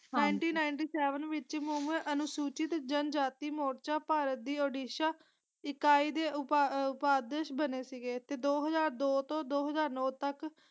Nineteen ninety seven ਵਿਚ ਮੁਮੁ ਅਨੁਸੂਚਿਤ ਜਨਜਾਤਿ ਮੋਰਚਾ ਭਾਰਤ ਦੀ ਉੜੀਸਾ ਇਕਾਈ ਦੇ ਉਪ ਉਪਾਦਿਸ਼ ਬਨੇ ਸੀਗੇ ਤੇ ਦੋ ਹਾਜ਼ਰ ਦੋ ਤੋਂ ਦੋ ਹਾਜ਼ਰ ਨੌ ਤਕ।